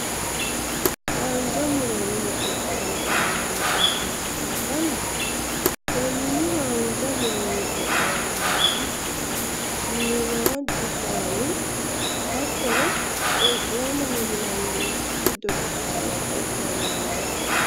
haanja muronni qoqowamme afamano qooxessa ikanna konni haanja muronni qoqowaminohu giddo shiimaadu shaanni hattono qolicomaho yinannirichi giddo giddo sa'e sa'e afamanno yaate.